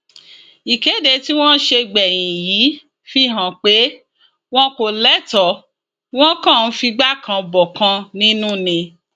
ìkéde tí wọn ṣe gbẹyìn yìí fi hàn pé wọn kò lẹtọ wọn kàn ń figbá kan bọkan nínú ni